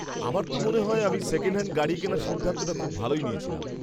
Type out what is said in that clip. আমার তো মনে হয় আমি সেকেন্ড হ্যান্ড গাড়ি কেনার সিদ্ধান্তটা খুব ভালোই নিয়েছিলাম।